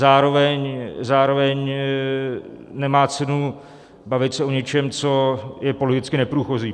Zároveň nemá cenu bavit se o něčem, co je politicky neprůchozí.